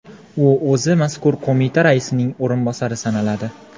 U o‘zi mazkur qo‘mita raisining o‘rinbosari sanaladi.